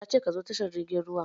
Ya ce "Ka zo tashar jirgin ruwan"!